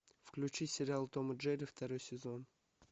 включи сериал том и джерри второй сезон